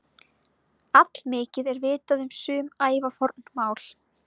Allmikið er vitað um sum ævaforn mál.